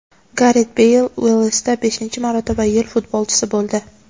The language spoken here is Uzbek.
Garet Beyl Uelsda beshinchi marotaba yil futbolchisi bo‘ldi.